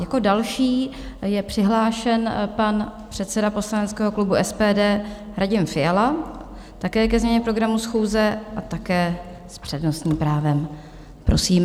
Jako další je přihlášen pan předseda poslaneckého klubu SPD Radim Fiala, také ke změně programu schůze a také s přednostním právem, prosím.